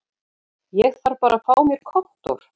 Ég þarf bara að fá mér kontór